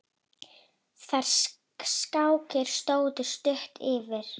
Þær skákir stóðu stutt yfir.